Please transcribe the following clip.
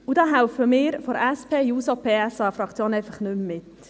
Da helfen wir von der SP-JUSO-PSA-Fraktion einfach nicht mehr mit.